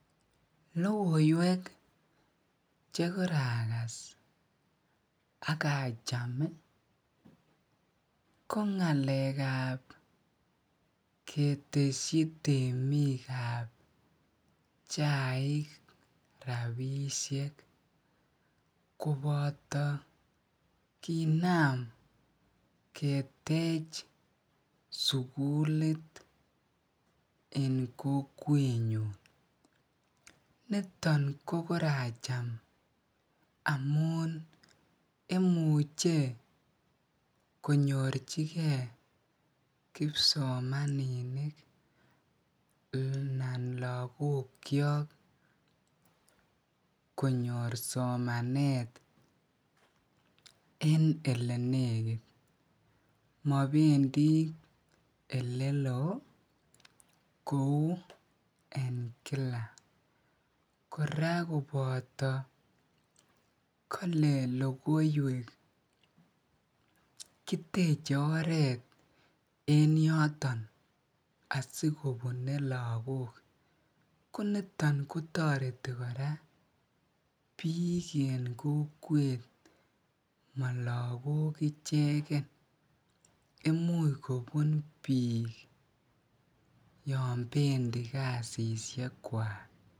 Logoiwek che koragas akacham ih ko ketesyi temikab chaik rabisiek koboto kinaam ketech sugulit en kokwenyon. Nito kokoracham amuun imuche konyorchike kibsomaninik konyor somanet en elenekit . Mabendii elelo ih kouu en Kila. Kora kobato kale logoiwek kiteche oret en yoto asikonune lakok konito tareti lakok kora.